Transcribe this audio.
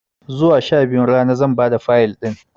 Zuwa sha biyun rana zan bada Fayil ɗin